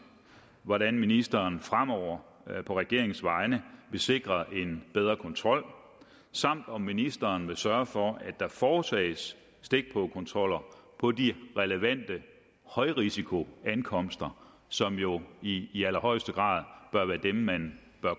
hvordan ministeren fremover på regeringens vegne vil sikre en bedre kontrol samt om ministeren vil sørge for at der foretages stikprøvekontroller på de relevante højrisikoankomster som jo i i allerhøjeste grad bør være dem man